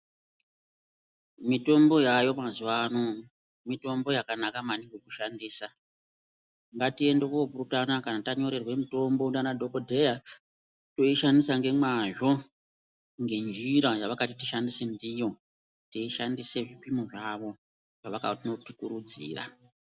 Mitombo yaayo mazuwa ano , mitombo yakanaka maningi kushandisa. Ngatiende kopurutana kana tanyorerwe mitombo ndianadhokodheya, toishandisa ngemwazvo, ngenjira yavakati tishandise ndiyo, teishandise zvipimo zvavo zvavakanotikurudzira.